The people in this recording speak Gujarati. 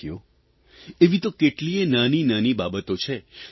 સાથીઓ એવી તો કેટલીયે નાનીનાની બાબતો છે